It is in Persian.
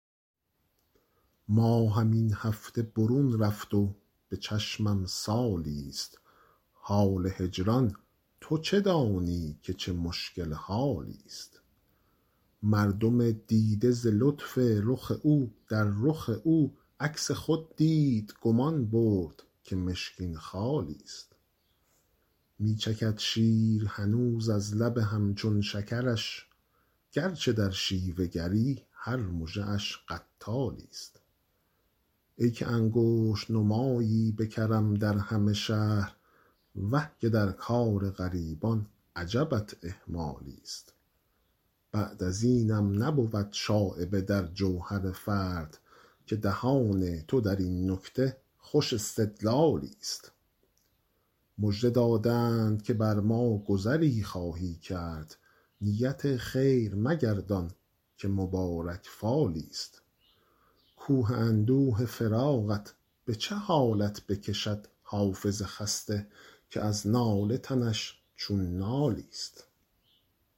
ماهم این هفته برون رفت و به چشمم سالی ست حال هجران تو چه دانی که چه مشکل حالی ست مردم دیده ز لطف رخ او در رخ او عکس خود دید گمان برد که مشکین خالی ست می چکد شیر هنوز از لب هم چون شکرش گر چه در شیوه گری هر مژه اش قتالی ست ای که انگشت نمایی به کرم در همه شهر وه که در کار غریبان عجبت اهمالی ست بعد از اینم نبود شایبه در جوهر فرد که دهان تو در این نکته خوش استدلالی ست مژده دادند که بر ما گذری خواهی کرد نیت خیر مگردان که مبارک فالی ست کوه اندوه فراقت به چه حالت بکشد حافظ خسته که از ناله تنش چون نالی ست